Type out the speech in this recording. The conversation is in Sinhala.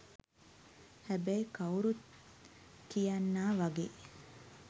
හැබැයි කවුරුත් කියන්නා වගේ